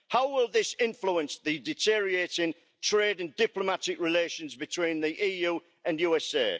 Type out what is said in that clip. How will this influence the deteriorating trade and diplomatic relations between the EU and USA?